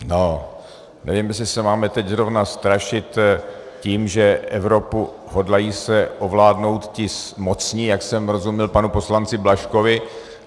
No, nevím, jestli se máme teď zrovna strašit tím, že Evropu hodlají se ovládnout ti mocní, jak jsem rozuměl panu poslanci Blažkovi.